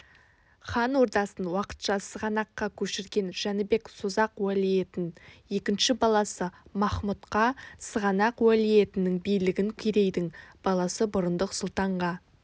хан ордасын уақытша сығанаққа көшірген жәнібек созақ уәлиетін екінші баласы махмұдқа сығанақ уәлиетінің билігін керейдің баласы бұрындық сұлтанға